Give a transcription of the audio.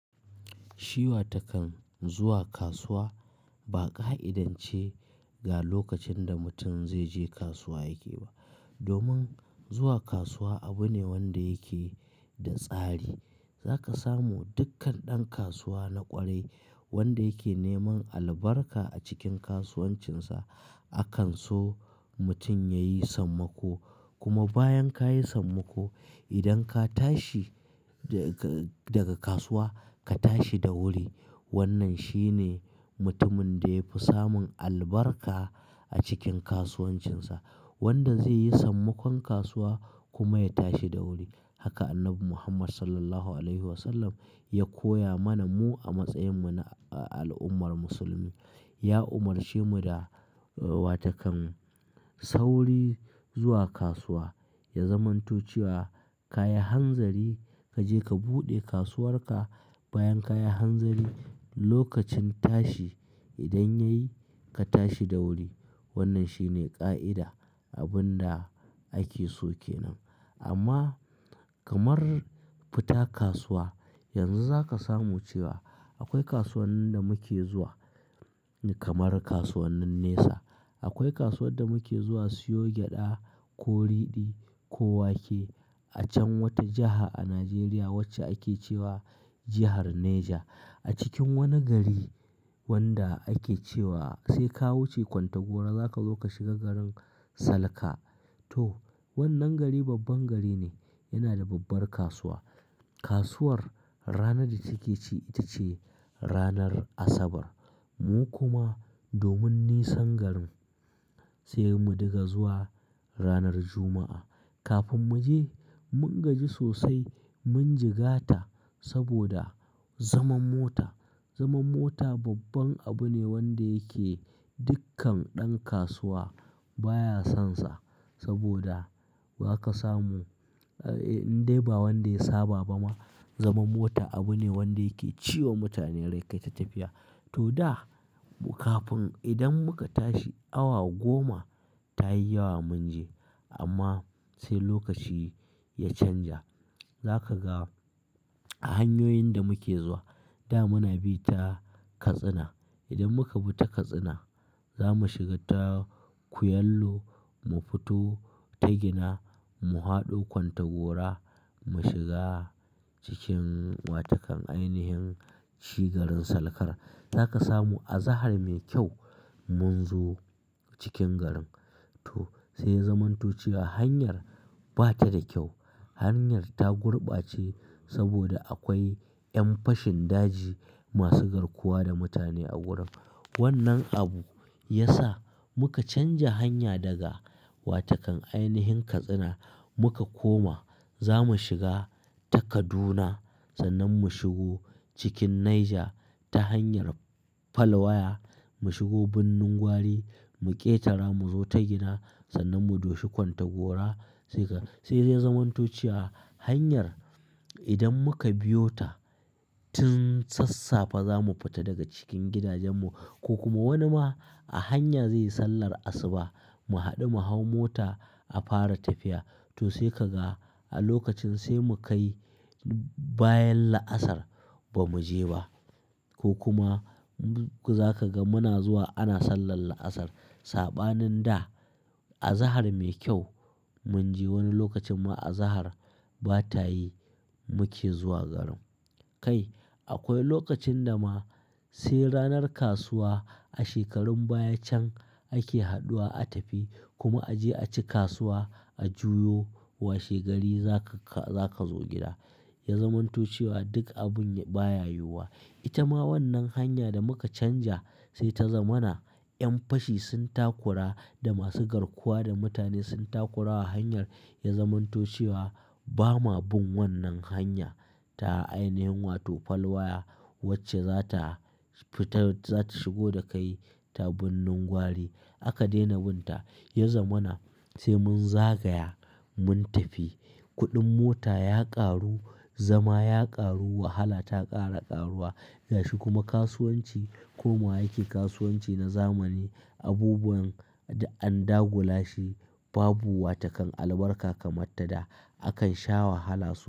Shi watakan zuwa kasuwa ba ƙa'idance ga lokacin da mutum zai je kasuwa yake ba. Domin zuwa kasuwa abu ne wanda yake da tsari. Zaka samu dukkan ɗan kasuwa na ƙwarai wanda yake neman albarka a cikin kasuwancinsa. Akan so mutum yayi sammako kuma bayan kayi sammako idan ka tashi daga kasuwa ka tashi da wuri. Wannan shine mutumin da yafi samun albarka a cikin kasuwancinsa. Wanda zai yi sammakon kasuwa kuma ya tashi da wuri. Haka Annabi Muhammad (S.A.W) ya koya mana mu a matsayin mu na al'ummar musulmi. Ya umarce mu da watakan sauri zuwa kasuwa ya zamanto cewa ka yi hanzari kaje ka buɗe kasuwar ka bayan kayi hanzari lokacin tashi idan yayi ka tashi da wuri. Wannan shine ƙa'ida abin da ake so kenan. Amma kamar fita kasuwa yanzu zaka samu cewa akwai kasuwannin da muke zuwa kamar kasuwannin nesa. Akwai kasuwar da muke zuwa siyo gyaɗa, ko ridi, ko wake a can wata jaha a Najeriya wacce ake cewa jihar Neja. A cikin wani gari wanda ake cewa sai ka wuce Kontagora zaka zo ka shiga garin Salka. To wannan gari babban gari ne yana da babbar kasuwa. Kasuwar ranar da take ci ita ce ranar Asabar. Mu kuma domin nisan garin sai mu dinga zuwa ranar Juma'a. Kafin mu je mun gaji sosai mun jigata saboda zaman mota. Zaman mota babban abu ne wanda yake dukkan ɗan kasuwa baya sonsa. Saboda za ka samu indai ba wanda ya saba ba ma. Zaman mota abu ne wanda yake ciwa mutane rai kai ta tafiya. To da kafin idan muka tashi awa goma ta yi yawa mun je amma sai lokaci ya canja. Zaka ga a hanyoyin da muke zuwa da muna bi ta Katsina. Idan muka bi ta Katsina za mu shiga ta Kuyallo mu fito ta Gina mu fado Kontagora mu shiga cikin watakan ainihin shi garin Salkar. Zaka samu azahar mai kyau mun zo cikin garin. To sai ya zamanto cewa hanyar ba ta da kyau. Hanyar ta gurbace saboda akwai ƴan fashin daji masu garkuwa da mutane a wurin. Wannan abu ya sa muka canja hanya daga watakan ainihin Katsina muka koma zamu shiga ta Kaduna sannan mu shigo cikin Naija ta hanyar Falwaya mu shigo Birnin Gwari mu ƙetara mu zo ta Gina sannan mu doshi Kontagora. Sai ya zai zamanto cewa hanyar idan muka biyo ta tun sassafe zamu fita daga cikin gidajen mu ko kuma wani ma a hanya zai yi sallar asuba mu haɗu mu hau mota a fara tafiya. To sai kaga a lokacin sai mu kai bayan la'asar ba mu je ba. Ko kuma za ka ga muna zuwa ana sallar la'asar. Saɓanin da a zahar mai kyau mun je wani lokacin ma azahar ba ta yi muke zuwa garin. Kai akwai lokacin da ma sai ranar kasuwa a shekarun baya can ake haɗuwa a tafi kuma a je aci kasuwa a juyo washe gari zaka za ka zo gida. Ya zamanto cewa duk abun baya yiyuwa. Ita ma wannan hanya da muka canja sai ta zama na ƴan fashi sun takura da masu garkuwa da mutane sun takura wa hanyar ya zamanto cewa ba ma bin wannan hanya ta ainihin wato Falwaya wacce za ta fita, za ta shigo da kai ta Birnin Gwari. Aka daina bin ta ya zama na sai mun zagaya mun tafi. Kuɗin mota ya ƙaru zama ya ƙaru wahala ta ƙara ƙaruwa. Gashi kuma kasuwanci komawa yake kasuwanci na zamani. Abubuwan duk an dagula shi babu watakan albarka kamar ta da. Akan sha wahala sosai.